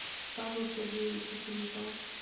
павла сергеевича филиппова